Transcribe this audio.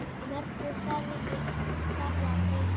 Mörgu þarf að breyta.